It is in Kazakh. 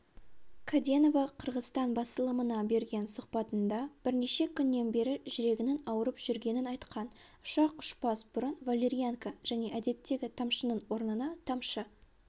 каденова қырғызстан басылымына берген сұхбатында бірнеше күннен бері жүрегінің ауырып жүргенін айтқан ұшақ ұшпас бұрын валерьянка және әдеттегі тамшының орнына тамшы